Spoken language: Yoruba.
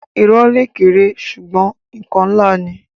Irọ́ le kéré ṣugbọn nkan nlá ni.